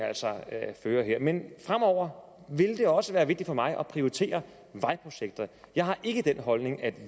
fører her men fremover vil det også være vigtigt for mig at prioritere vejprojekter jeg har ikke den holdning at